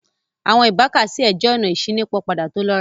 Awọn ibàkàsíẹ̀ jẹ́ ọ̀nà ìṣinípọpada tó lọ́rà